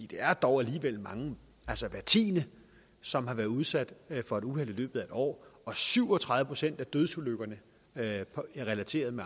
det er dog alligevel mange altså hver tiende som har været udsat for et uheld i løbet af en år og syv og tredive procent af dødsulykkerne relateret